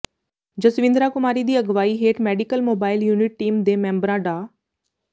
ਜਸਵਿੰਦਰਾ ਕੁਮਾਰੀ ਦੀ ਅਗਵਾਈ ਹੇਠ ਮੈਡੀਕਲ ਮੋਬਾਈਲ ਯੂਨਿਟ ਟੀਮ ਦੇ ਮੈਂਬਰਾਂ ਡਾ